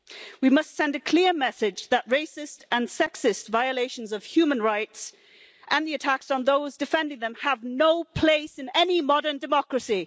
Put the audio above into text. We must send a clear message that racist and sexist violations of human rights and the attacks on those defending them have no place in any modern democracy.